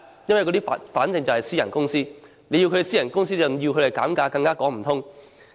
因為對方是私人公司，要求私人公司減價更說不通。